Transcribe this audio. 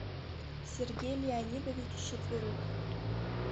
сергей леонидович четверык